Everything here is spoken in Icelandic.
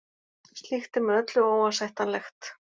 Slíkt er með öllu óásættanlegt